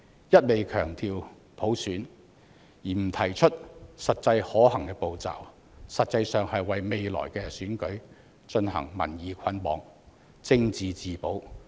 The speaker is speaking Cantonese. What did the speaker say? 一味強調普選，而不提出實際可行步驟，實質上是為未來的選舉進行民意捆綁，政治自保。